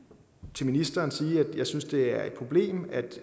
til ministeren sige at jeg synes det er et problem at